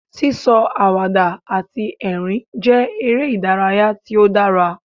Sí sọ àwàdà àti ẹ̀rín jẹ́ eré ìdárayá tí ó dára.